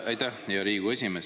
Aitäh, hea Riigikogu esimees!